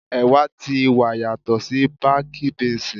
Ẹ̀wà ti wa yàtò sí bákí bínsìì.